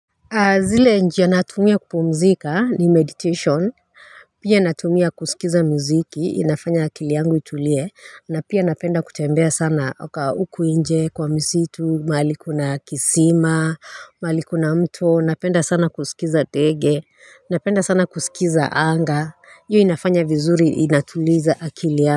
Zile njia natumia kupumzika ni meditation Pia natumia kusikiza muziki inafanya akili yangu itulie na pia napenda kutembea sana uku inje kwa misitu mali kuna kisima mahali kuna mto napenda sana kusikiza ndege napenda sana kusikiza anga, hiyo inafanya vizuri inatuliza akili ya.